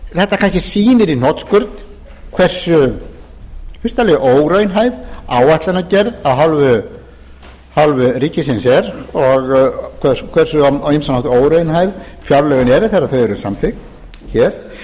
þetta kannski sýnir í hnotskurn hversu í fyrsta lagi óraunhæf áætlunargerð af hálfu ríkisins er og hversu á ýmsan hátt óraunhæf fjárlögin eru þegar þau eru samþykkt hér